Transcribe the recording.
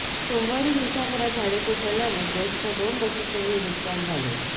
सोमवारी दिवसभरात झाडे कोसळल्याने बेस्टच्या दोन बसचेही नुकसान झाले